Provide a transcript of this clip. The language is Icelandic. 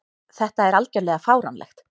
Þetta er algjörlega fáránlegt.